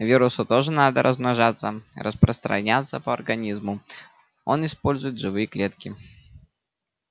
вирусу тоже надо размножаться распространяться по организму он использует живые клетки